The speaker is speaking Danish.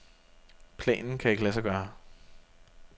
Planen kan ikke lade sig gøre.